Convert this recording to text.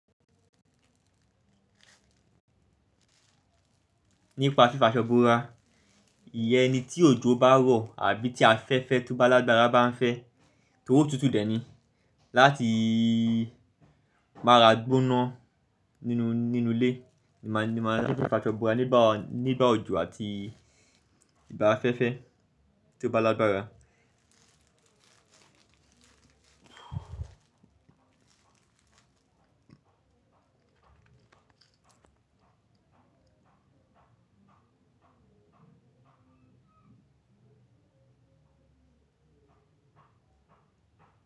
Nípa fíf'aṣọ́ bora, ìyẹ́n ni tí òjò bá rọ̀ àbí tí afẹ́fẹ́ tó bá lágbára bá ń fẹ́, tóri otútù dẹ̀ ni. Lati m'ara gbona ninu ile ni ma se n faso bora nigba ojo ati nigba afefe tio ba lagbara.